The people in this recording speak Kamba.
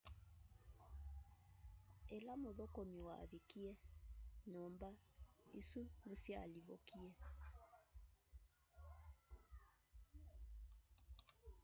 ĩla mũthũkũmi wavikie nyũmba isũ nĩsyalivukile